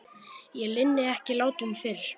Ég linni ekki látum fyrr.